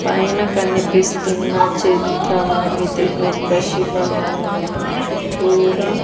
పైన కనిపిస్తున్న చిత్రం ఇది ఒక శివలింగం చుట్టూర--